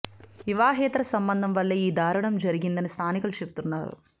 వివాహేతర సంబంధం వల్లే ఈ దారుణం జరిగిందని స్థానికులు చెబుతున్నారు